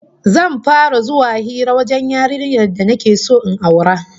Zan fara zuwa hira wajen yarinyar da nake so in aura